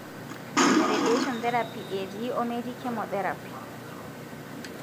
radion therapy etii ometiichemotherapy.